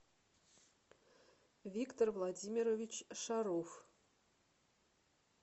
виктор владимирович шаров